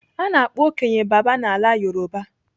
Ana akpọ okenye 'baba' n'ala Yoruba.